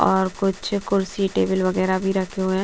और कुछ कुर्सी टेबल वगैरह भी रखे हुए हैं।